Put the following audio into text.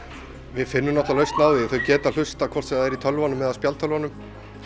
við finnum lausn á því þau geta hlustað hvort sem það er í tölvunum eða spjaldtölvunum